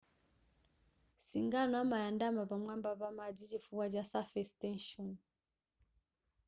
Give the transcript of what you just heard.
singano amayandama pamwamba pa madzi chifukwa cha surface tension